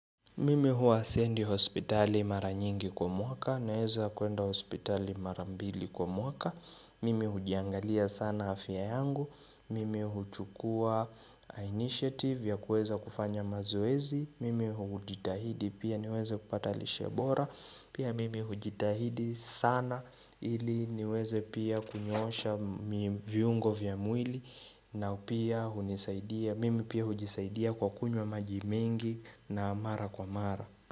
Mimi huwa siendi hospitali mara nyingi kwa mwaka naeza kuenda hospitali mara mbili kwa mwaka Mimi hujiangalia sana afya yangu Mimi huchukua initiative ya kuweza kufanya mazoezi Mimi hujitahidi pia niweze kupata lishe bora Pia mimi hujitahidi sana ili niweze pia kunyoosha viungo vya mwili na pia hunisaidia, mimi pia hujisaidia kwa kunywa maji mengi na mara kwa mara.